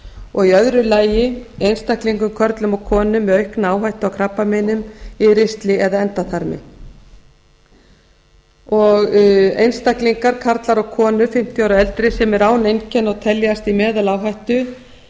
og í öðru lagi einstaklingum körlum og konum með aukna áhættu af krabbameinum í ristli eða endaþarmi einstaklingar karlar og konur fimmtíu ára og eldri sem eru án einkenna og teljast í meðaláhættu